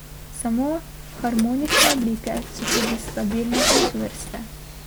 Samo harmonične oblike so tudi stabilne in čvrste.